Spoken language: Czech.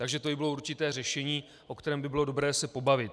Takže to by bylo určité řešení, o kterém by bylo dobré se pobavit.